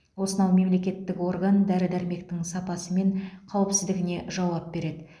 осынау мемлекеттік орган дәрі дәрмектің сапасы мен қауіпсіздігіне жауап береді